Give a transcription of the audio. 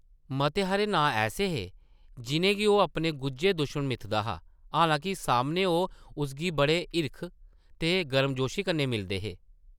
मते हारे नांऽ ऐसे हे, जिʼनें गी ओह् अपने गुज्झे दुश्मन मिथदा हा, हालांके सामनै ओह् उसगी बड़े हिरख ते गर्मजोशी कन्नै मिलदे हे ।